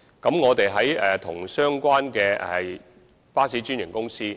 在與相關的巴士專營公司